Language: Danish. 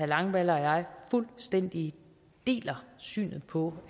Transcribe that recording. langballe og jeg fuldstændig deler synet på